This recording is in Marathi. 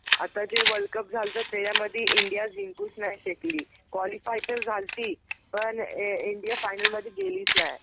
आता जे वर्ल्डकप झालंत त्याच्यामधी इंडिया जिंकूच नाही शकली. क्वालिफाय तर झालती पण इंडिया फायनल मधे गेलीच नाय.